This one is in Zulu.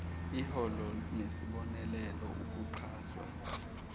iholo nesibonelelo ukuxhaswa